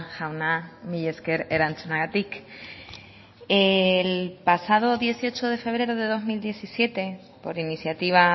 jauna mila esker erantzunagatik el pasado dieciocho de febrero de dos mil diecisiete por iniciativa